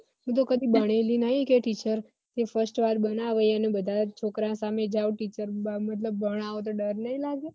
હું તો કદી બનેલી નઈ કે teacher તે first વાર બનાવે બધા છોકરા સામે જાઓ teacher ભણાવો તો ડર નઈ લાગે